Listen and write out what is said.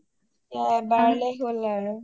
এবাৰলে হ’ল আৰু